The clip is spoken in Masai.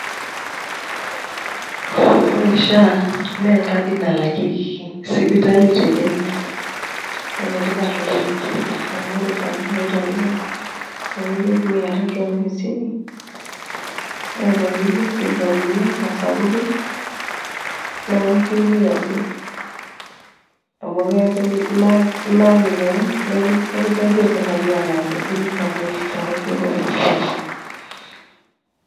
Ore SHA naa enkadi nalakieki sipitali te Kenya naa enetipat oleng' amu ore taa naai tolapa tenipik mia tatu hamsini naa tenilo ata sapukin naa intumia ake amu ilaaki keon nikisaidia sirkali aalaki sininche enaki shoto ooropiyiani.